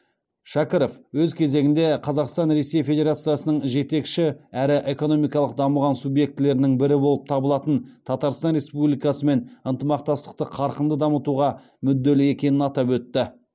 шәкіров өз кезегінде қазақстан ресей федерациясының жетекші әрі экономикалық дамыған субъектілерінің бірі болып табылатын татарстан республикасымен ынтымақтастықты қарқынды дамытуға мүдделі екенін атап өтті